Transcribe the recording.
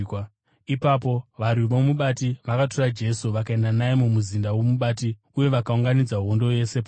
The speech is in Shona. Ipapo varwi vomubati vakatora Jesu vakaenda naye mumuzinda womubati uye vakaunganidza hondo yose paari.